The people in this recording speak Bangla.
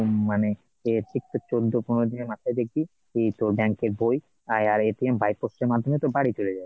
মানে তো চোদ্দ পনেরো দিনের মাথায় দেখবি ই তোর bank এর বই আর by post এর মাধ্যমে তোর বাড়ি চলে যাবে